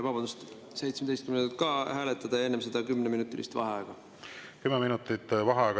Vabandust, 17.